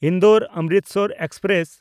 Indore-Amritsar express